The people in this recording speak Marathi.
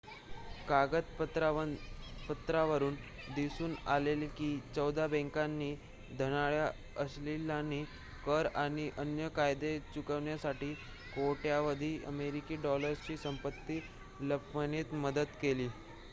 कागदपत्रांवरुन दिसून आले की चौदा बँकांनी धनाढ्य अशिलांना कर आणि अन्य कायदे चुकविण्यासाठी कोट्यावधी अमेरिकी डॉलर्सची संपत्ती लपविण्यात मदत केली